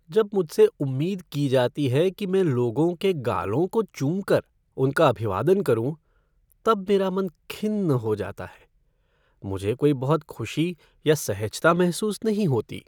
जब मुझसे उम्मीद की जाती है कि मैं लोगों के गालों को चूमकर उनका अभिवादन करूँ तब मेरा मन खिन्न हो जाता है। मुझे कोई बहुत खुशी या सहजता महसूस नहीं होती।